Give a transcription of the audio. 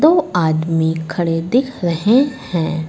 वो आदमी खड़े दिख रहे है।